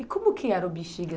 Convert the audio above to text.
E como que era o Bixiga?